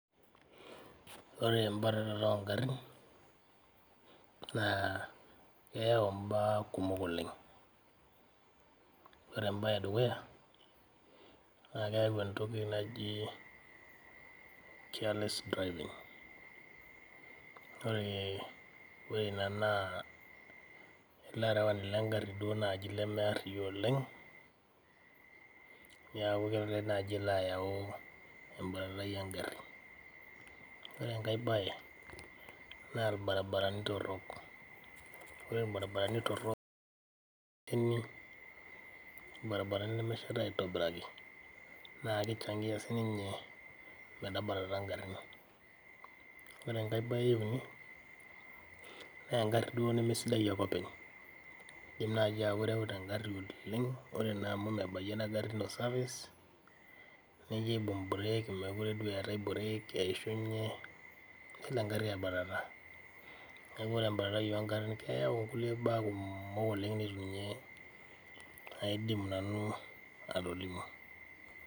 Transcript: Kore embatata oongarin naaa eyau imbaa kumok oleng, ore embaye edukuya naa keyau entoki najii careless driving ore ina naa larewani le ing'arri naaji lemeariani duo oleng, naaku kelo ake naaji ayau embatatai oongarin, ore enkae baye naa irbarabarani torrok, ore irbarabarani torrok lemesheta aitobiraki naa keichangia sii ninye metabatata ingarin, ore inkae baye euni naa engari duo nemesidai ake openy, ija naaji oirauta ng'ari oleng, ore naa amu mebaiye ina gari ino service nijo aibung mbureeg mekore duo eatae mbureg eishunye, nelo ing'arri aibatata, naaku ore embatai oongarin keyau nkule baa kumok oleng namaidim ninye nanu atolimu.